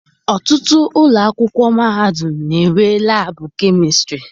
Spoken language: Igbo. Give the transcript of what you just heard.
Ọtụtụ ụlọ akwụkwọ mahadum na-enwe laabụ kemistịrị.